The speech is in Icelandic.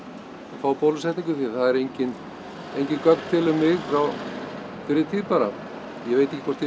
fá bólusetningu því það er enginn enginn gögn til um mig frá fyrri tíð bara ég veit ekki hvort ég